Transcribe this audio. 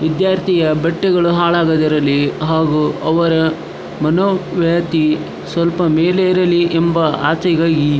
ವಿದ್ಯಾರ್ಥಿಯ ಬಟ್ಟೆಗಳು ಹಾಳಾಗದಿರಲಿ ಹಾಗು ಅವರ ವ್ ಮನೋ ವ್ಯಾತಿ ಸ್ವಲ್ಪ ಮೇಲೆ ಇರಲಿ ಎಂಬ ಆಸೆಗಾಗಿ --